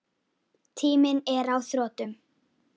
Tíminn er á þrotum.